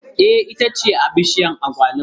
Eh ita ce bishiyar agwaluma